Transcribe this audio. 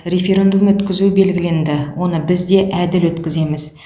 референдум өткізу белгіленді оны біз де әділ өткіземіз